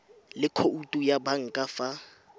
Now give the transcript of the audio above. le khoutu ya banka fa